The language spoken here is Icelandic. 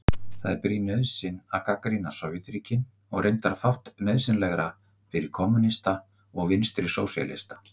Það er brýn nauðsyn að gagnrýna Sovétríkin og reyndar fátt nauðsynlegra fyrir kommúnista og vinstrisósíalista.